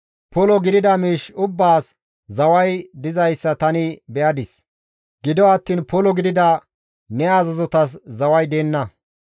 Polo gidida miish ubbaas zaway dizayssa tani be7adis; gido attiin polo gidida ne azazotas zaway deenna.